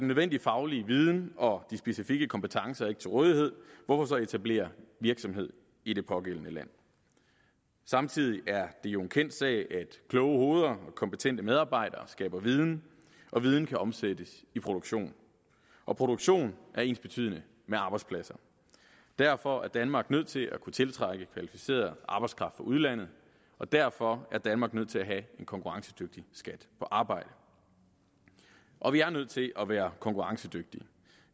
nødvendige faglige viden og de specifikke kompetencer ikke til rådighed hvorfor så etablere virksomhed i det pågældende land samtidig er det jo en kendt sag at kloge hoveder og kompetente medarbejdere skaber viden og viden kan omsættes i produktion og produktion er ensbetydende med arbejdspladser derfor er danmark nødt til at kunne tiltrække kvalificeret arbejdskraft fra udlandet og derfor er danmark nødt til at have en konkurrencedygtig skat på arbejde og vi er nødt til at være konkurrencedygtige